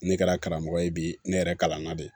Ne kɛra karamɔgɔ ye bi ne yɛrɛ kalan na de